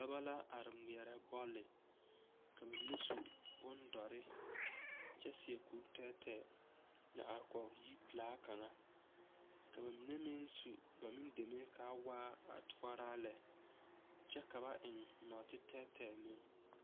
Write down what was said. Dɔbɔ la are ŋmeɛrɛ bɔle ka ba mine su boŋ dɔre kyɛ seɛ kuri tɛɛtɛɛ a are kɔge yiri pelaa kaŋa ka ba mine meŋ su ba meŋ deme ka waa a toɔraa lɛ kyɛ ka ba eŋ nɔɔteɛ tɛɛtɛɛ meŋ.